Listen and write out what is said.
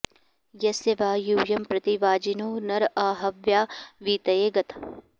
यस्य॑ वा यू॒यं प्रति॑ वा॒जिनो॑ नर॒ आ ह॒व्या वी॒तये॑ ग॒थ